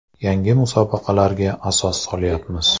Yangi musobaqalarga asos solyapmiz.